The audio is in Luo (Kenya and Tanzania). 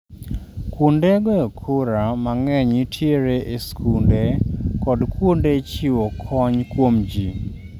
Kuonde goyo kura mang'eny nitiere e skunde kod kuonde chiwo kony kuom ji